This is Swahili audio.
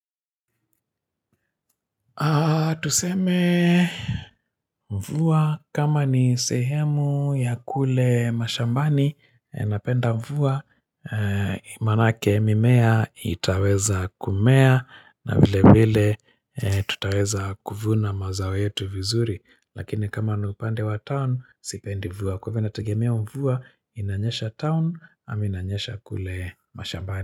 Tuseme mvua kama ni sehemu ya kule mashambani Napenda mvua maanake mimea itaweza kumea na vile vile tutaweza kuvuna mazao yetu vizuri Lakini kama ni upande wa town sipendi mvua Kwahivyo inategemea mvua inanyesha town ama inanyesha kule mashambani.